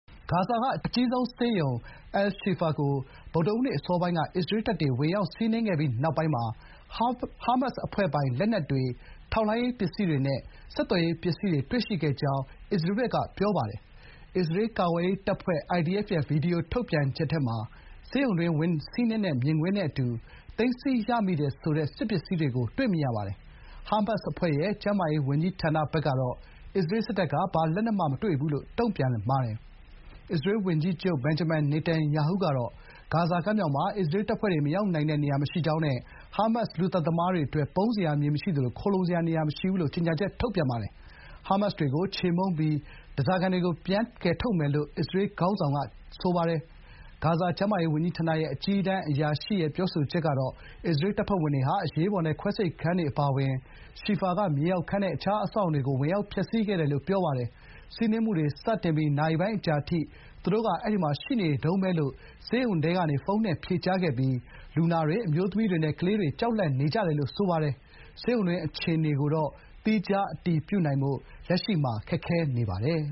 ဂါဇာက အကြီးဆုံးဆေးရုံ အယ်လ်-ရှီဖာ (Al-Shifa) ကို ဗုဒ္ဓဟူးနေ့အစောပိုင်းက အစ္စရေးတပ်တွေ ဝင်ရောက်စီးနင်းခဲ့ပြီးနောက်ပိုင်း ဟားမတ်စ်အဖွဲ့ပိုင် လက်နက်တွေ၊ ထောက်လှမ်းရေးပစ္စည်းတွေနဲ့ ဆက်သွယ်ရေးပစ္စည်းတွေ တွေ့ရှိခဲ့ကြောင်း ပြောပါတယ်။ အစ္စရေးကာကွယ်ရေးတပ်ဖွဲ့ (IDF) ရဲ့ ဗွီဒီယိုထုတ်ပြန်ချက်ထဲမှာ ဆေးရုံတွင်း ဝင်စီးနင်းတဲ့ မြင်ကွင်းနဲ့အတူ သိမ်းဆည်းရမိတယ်ဆိုတဲ့ စစ်ပစ္စည်းတွေကို တွေ့မြင်ရပါတယ်။ ဟားမတ်စ်အဖွဲ့ရဲ့ ကျန်းမာရေးဝန်ကြီးဌာနဘက်ကတော့ အစ္စရေးစစ်တပ်က ဘာလက်နက်မှ မတွေ့ဘူးလို့ တုံ့ပြန်ပါတယ်။ အစ္စရေးဝန်ကြီးချုပ် ဘင်ဂျမင် နေတန်ယာဟုကတော့ "ဂါဇာကမ်းမြောင်မှာ အစ္စရေးတပ်ဖွဲ့ မရောက်နိုင်တဲ့ နေရာမရှိကြောင်းနဲ့ ဟားမတ်စ် လူသတ်သမားတွေအတွက် ပုန်းစရာ မြေမရှိသလို ခိုလှုံစရာ နေရာမရှိဘူး။” လို့ ကြေညာချက်ထုတ်ပါတယ်။ “ဟားမတ်စ်တွေကို ချေမှုန်းပြီး ဓားစာခံတွေကို ပြန်ကယ်ထုတ်မယ်။” လို့ အစ္စရေးခေါင်းဆောင်က ဆိုပါတယ်။ ဂါဇာကျန်းမာရေးဝန်ကြီးဌာနရဲ့ အကြီးတန်းအရာရှိ Munir al-Boursh ကတော့ အစ္စရေးတပ်ဖွဲ့ဝင်တွေဟာ အရေးပေါ်နဲ့ ခွဲစိတ်ခန်းတွေအပါအဝင် ရှီဖာက မြေအောက်ခန်းနဲ့ အခြားအဆောက်အအုံတွေကို ဝင်ရောက်ဖျက်ဆီးခဲ့တယ်လို့ ပြောပါတယ်။ စီးနင်းမှုစတင်ပြီး နာရီပိုင်းအကြာအထိ “သူတို့က အဲဒီမှာရှိနေတုန်းပဲ” လို့ ဆေးရုံထဲကနေ ဖုန်းနဲ့ဖြေကြားခဲ့ပြီး "လူနာတွေ၊ အမျိုးသမီးတွေနဲ့ ကလေးတွေက ကြောက်လန့်နေကြတယ်" လိုဆိုပါတယ်။ ဆေးရုံတွင်းအခြေအနေကိုတော့ သီခြား အတည်ပြုနိုင်ဖို့ လက်ရှိမှာ ခက်ခဲနေပါတယ်